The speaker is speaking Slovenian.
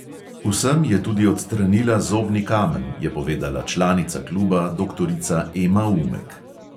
Vsem je tudi odstranila zobni kamen, je povedala članica kluba doktorica ema umek.